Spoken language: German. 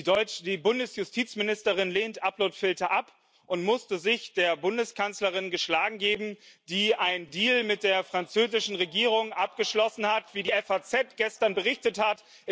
Die Bundesjustizministerin lehnt Uploadfilter ab und musste sich der Bundeskanzlerin geschlagen geben, die einen Deal mit der französischen Regierung abgeschlossen hat, wie die FAZ gestern berichtet hat.